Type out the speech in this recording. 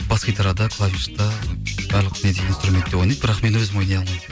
бас гитарада клавишта барлық неде инстурментте ойнайды бірақ мен өзім ойнай алмаймын